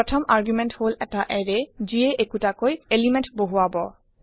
first argument হল এটা array যিয়ে একোটাকৈ এলিমেণ্ট বহুৰাব